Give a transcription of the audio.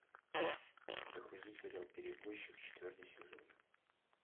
загрузи сериал перевозчик четвертый сезон